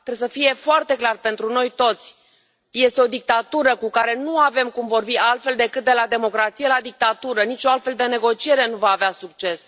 Trebuie să fie foarte clar pentru noi toți, este o dictatură cu care nu avem cum vorbi altfel decât de la democrație la dictatură, nicio altfel de negociere nu va avea succes.